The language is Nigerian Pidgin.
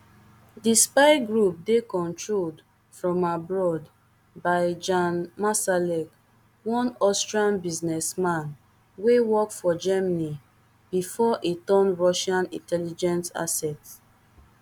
di spy group dey controlled from abroad by jan marsalek one austrian businessman wey work for germany bifor e turn russian intelligence asset